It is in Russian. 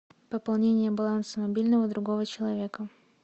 пополнение баланса мобильного другого человека